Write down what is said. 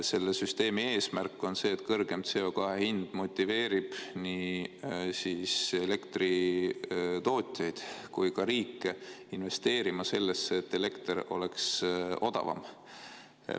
Selle süsteemi eesmärk on see, et kõrgem CO2 hind motiveerib nii elektritootjaid kui ka riike investeerima sellesse, et elekter oleks odavam.